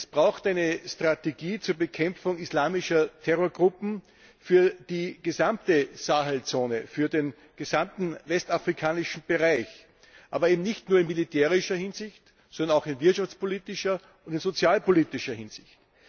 Wir brauchen eine Strategie zur Bekämpfung islamischer Terrorgruppen für die gesamte Sahelzone, für den gesamten westafrikanischen Bereich, aber eben nicht nur in militärischer Hinsicht, sondern auch in wirtschaftspolitischer und in sozialpolitischer Hinsicht.